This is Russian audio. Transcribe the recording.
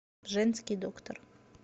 женский доктор